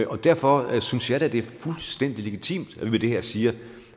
og derfor synes jeg det er fuldstændig legitimt at vi med det her siger